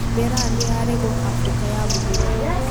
Mĩraa nĩyaregũo Afrika ya mũhuro.